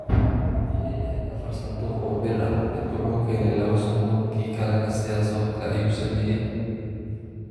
Haddii ay ahayd afar sanduuq oo biir ah, mid wuxuu keenay laba sanduuq, kii kalena sidaas oo kale ayuu sameeyay.